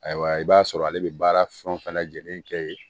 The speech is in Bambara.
Ayiwa i b'a sɔrɔ ale bɛ baara fɛn fɛn lajɛlen kɛ yen